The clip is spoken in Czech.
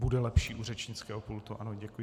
Bude lepší u řečnického pultu, ano, děkuji.